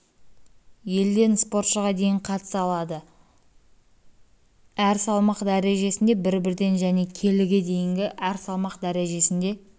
елден спортшыға дейін қатыса алады әр салмақ дәрежесінде бір-бірден және келіге дейінгі әр салмақ дәрежесінде